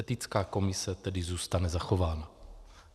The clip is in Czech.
Etická komise tedy zůstane zachována.